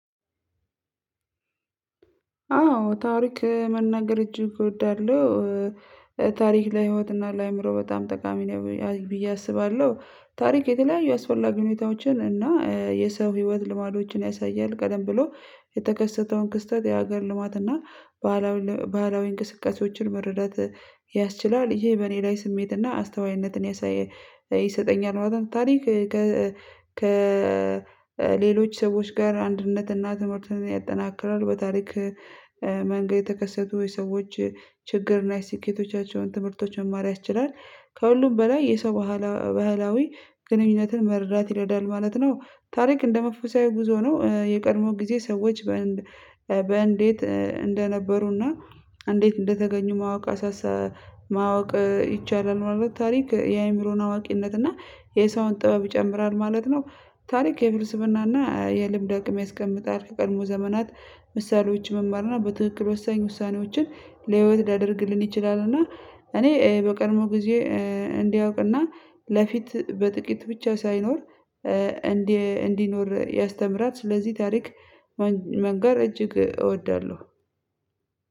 አዎ ታሪክ መናገር እጅግ እወዳለሁ። ታሪክ ለህይወትና ለአእምሮ በጣም ጠቃሚ ነው ብዬ አስባለሁ ታሪክ የተለያዩ አስፈላጊ ሁኔታዎችን እና የሰው ህይወት ልማዶችን ያሳያል ቀደም ብሎ የተከሰተውን ክስተት የሀገር ልማት እና ባህላዊ ባህላዊ እንቅስቃሴዎችን መረዳት ያስችላል ይሄ በእኔ ላይ ስሜት እና አስተዋይነትን ያሳየ ይሰጠኛል ማለት ነው። ታሪክ ከሌሎች ሰዎች ጋር አንድነትና ትምህርትን ያጠናክራል። በታሪክ መንገድ የተከሰቱ የሰዎች ችግር እና የስኬቶቻቸውን ትምህርቶች መማር ያስችላል ከሁሉም በላይ የሰው ባህላዊ ግንኙነትን መርዳት ይረዳል። ማለት ነው ታሪክ እንደ መንፈሳዊ ጉዞ ነው የቀድሞ ጊዜ ሰዎች በእንዴት እንደነበሩና እንዴት እንደተገኙ ማወቅ አሳሳ ማወቅ ይቻላል። ማለት ታሪክ የአእምሮን አዋቂነትና የሰውን ጥበብ ይጨምራል ማለት ነው። ታሪክ የፍልስፍና እና የልምድ አቅም ያስቀምጣል ከቀድሞ ዘመናት ምሳሌዎች መማርና በትክክል ወሳኝ ውሳኔዎችን ለህይወት ሊያደርግልን ይችላልና። እኔ በቀድሞ ጊዜ እንዲያውቅና ለፊት በጥቂት ብቻ ሳይኖር እንዲኖር ያስተምራል። ስለዚህ ታሪክ መንገር እጅግ እወዳለሁ።